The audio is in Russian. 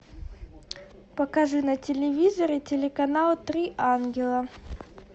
покажи на телевизоре телеканал три ангела